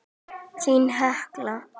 Þín, Hekla.